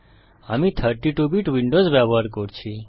আমি 32 bit Windows ব্যবহার করছি